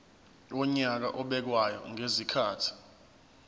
wonyaka obekwayo ngezikhathi